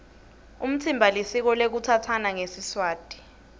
umtsimba lisiko lekutsatsana ngesiswati